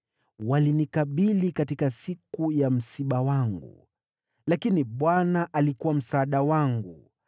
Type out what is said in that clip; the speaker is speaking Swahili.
Walinikabili siku ya msiba wangu, lakini Bwana alikuwa msaada wangu.